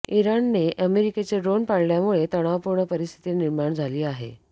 इराणने अमेरिकेचं ड्रोन पाडल्यामुळे तणावपूर्ण परिस्थिती निर्माण झाली आहे